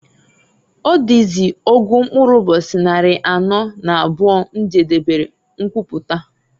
Ọdịzị ọgụ mkpụrụ ụbọchị nnarị anọọ na abụọ m jedebere mkwụpụta.